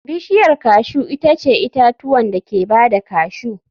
Bishiyar cashew itace itatuwan da ke ba da cashew.